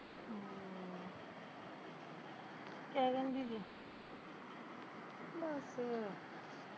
ਕਿਆ ਕਹਿੰਦੀ ਤੀ